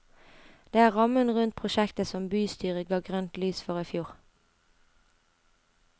Det er rammen rundt prosjektet som bystyret ga grønt lys for i fjor.